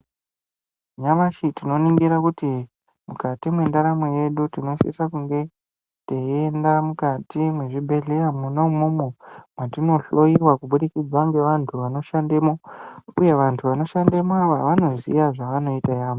Nyamashi tinoningira kuti mukati mwendaramo yedu. Tinosisa kunge teienda mukati mwezvibhedhleya mwona imwomwo mwatinohloiwa kubudikidza ngevantu vanoshandemo, uye vantu vanoshandemovo vanoziya zvavanoita yaamho.